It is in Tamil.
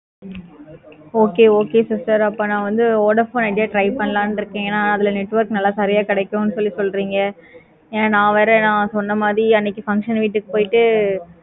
ஹம் okay okay sister அப்ப நா வந்து vodafone try பண்ணலாம் இருக்கேன். அதுல network சரியா கிடைக்கும்னு சொல்றிங்க ஏன நா வேற நா சொன்ன மாதிரி function வீட்டுக்கு போயிட்டு